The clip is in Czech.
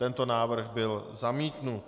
Tento návrh byl zamítnut.